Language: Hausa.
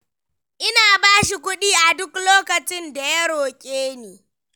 Ina ba shi kuɗi a duk lokacin da ya roƙe ni.